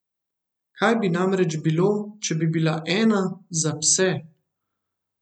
Kaj bi namreč bilo, če bi bila ena za pse?